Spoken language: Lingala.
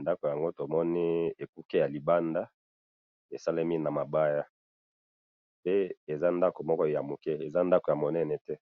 ,ndaku yango tomoni ekuke ya libanda esalemi na mabaya pe eza ndaku moko ya muke eza ndaku ya munene te .